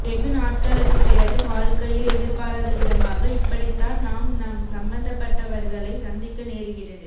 வெகு நாட்களுக்குப் பிறகு வாழ்க்கையில் எதிர்பாராதவிதமாக இப்படித்தான் நாம் நம் சம்பத்தப்பட்டவர்களை சந்திக்க நேருகிறது